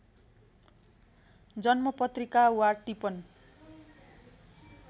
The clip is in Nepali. जन्मपत्रिका वा टिपन